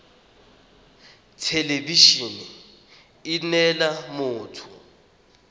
thelebi ene e neela motho